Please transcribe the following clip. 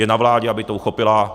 Je na vládě, aby to uchopila.